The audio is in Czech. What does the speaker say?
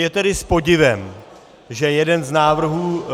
Je tedy s podivem, že jeden z návrhů -